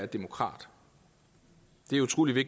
der kom